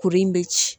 Kuru in bɛ ci